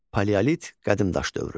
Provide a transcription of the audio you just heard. Paleolit, qədimdaş dövrü.